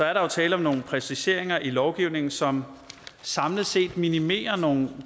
er der tale om nogle præciseringer i lovgivningen som samlet set minimerer nogle